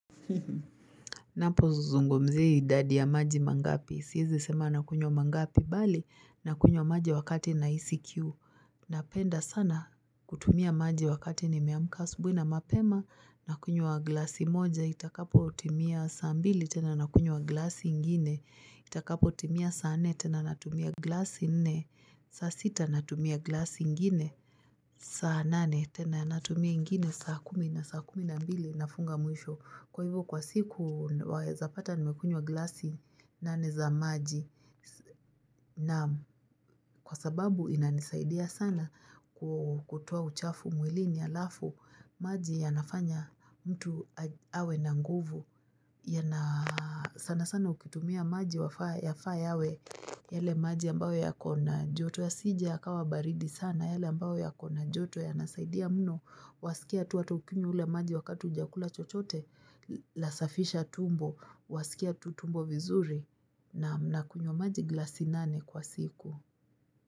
Napozungumzia idadi ya maji mangapi, siezi sema nakunywa mangapi, bali nakunywa maji wakati nahisi kiu Napenda sana kutumia maji wakati nimeamka, asubuhi na mapema, nakunywa glasi moja, itakapotimia saa mbili, tena nakunywa glasi ingini Itakapotimia saa nne, tena natumia glasi nne, saa sita natumia glasi ingine, saa nane, tena natumia ingine saa kumi na saa kumi na mbili nafunga mwisho Kwa hivyo kwa siku waeza pata nimekunywa glasi nane za maji Naam kwa sababu inanisaidia sana kutoa uchafu mwilini alafu maji yanafanya mtu awe na nguvu sana sana ukitumia maji yafaa yawe yale maji ambayo yako na joto yasije yakawa baridi sana yale ambayo yako na joto yanasaidia mno Wasikia tu hata ukinywa ule maji wakati hujakula chochote, lasafisha tumbo, wasikia tu tumbo vizuri nakunywa maji glasi nane kwa siku.